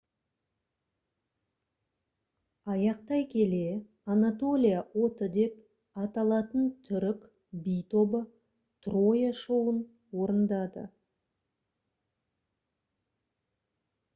аяқтай келе «анатолия оты» деп аталатын түрік би тобы «троя» шоуын орындады